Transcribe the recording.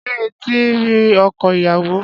Ṣé eti ri ọkọ ìyàwó?